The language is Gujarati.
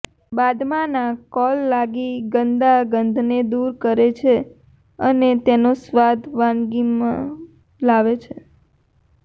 બાદમાંનો કોલ લાગી ગંદા ગંધને દૂર કરે છે અને તેનો સ્વાદ વાનગીમાં લાવે છે